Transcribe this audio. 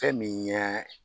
Fɛn min ɲa